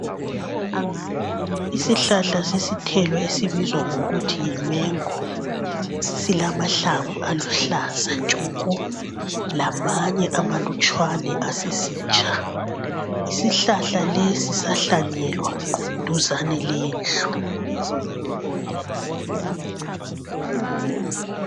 Isihlahla sesithelo esibizwa ngokuthi yimengo silamahlamvu aluhlaza tshoko lamanye amalutshwane asesitsha. Isihlahla lesi sahlanyelwa duzane lendlu.